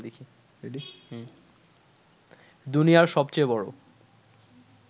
দুনিয়ার সবচেয়ে বড়